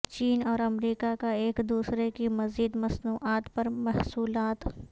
چین اور امریکا کا ایک دوسرے کی مزید مصنوعات پر محصولات